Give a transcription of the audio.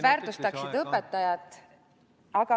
... väärtustaksid õpetajat.